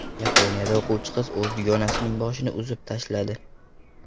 Yaponiyada o‘quvchi qiz o‘z dugonasining boshini uzib tashladi.